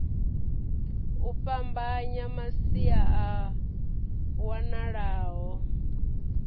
u fhambanya masia a wanalaho